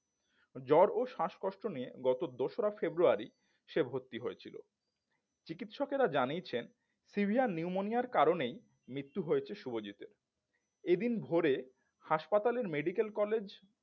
জ্বর ও শ্বাসকষ্ট নিয়ে গত দোসরা ফেব্রুয়ারি সে ভর্তি হয়েছিল চিকিৎসকেরা জানিয়েছেন sever pneumonia এর কারণেই মৃত্যু হয়েছে শুভজিৎ এর এদিন ভরে হাসপাতালের medical collage